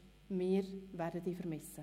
Wir werden dich vermissen.